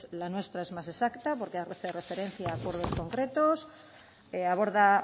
la nuestra es más exacta porque hace referencia a acuerdos concretos aborda